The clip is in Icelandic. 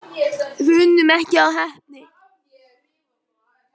Við unnum ekki af heppni.